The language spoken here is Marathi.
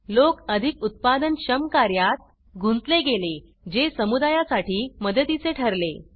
लोक अधिक उत्पादनक्षम कार्यात गुंतले गेले जे समुदायासाठी मदतीचे ठरले